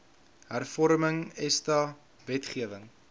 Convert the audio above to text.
hervorming esta wetgewing